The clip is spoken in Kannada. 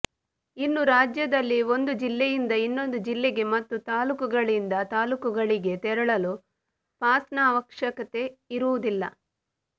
ಇನ್ನೂ ರಾಜ್ಯದಲ್ಲಿ ಒಂದು ಜಿಲ್ಲೆಯಿಂದ ಇನ್ನೊಂದು ಜಿಲ್ಲೆಗೆ ಮತ್ತು ತಾಲೂಕುಗಳಿಂದ ತಾಲೂಕುಗಳಿಗೆ ತೆರಳಲು ಪಾಸ್ನ ಅವಶ್ಯಕತೆ ಇರುವುದಿಲ್ಲ